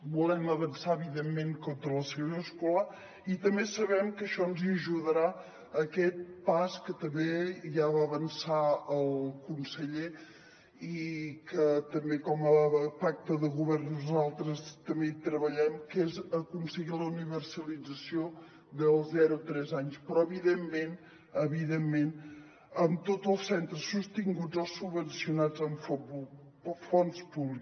volem avançar evidentment contra la segregació escolar i també sabem que a això ens hi ajudarà aquest pas que també ja va avançar el conseller i que també com a pacte de govern nosaltres també hi treballem que és aconseguir la universalització del zero a tres anys però evidentment evidentment amb tots els centres sostinguts o subvencionats amb fons públics